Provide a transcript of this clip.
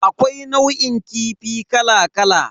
Akwai nau'in kifi kala kala.